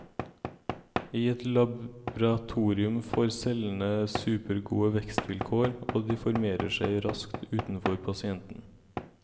I et laboratorium får cellene supergode vekstvilkår, og de formerer seg raskt utenfor pasienten.